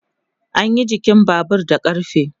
anyi jikin Babur da ƙarfe